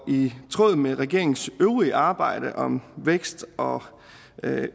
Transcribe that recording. i tråd med regeringens øvrige arbejde om vækst og